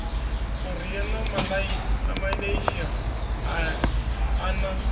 korea na malaysia a na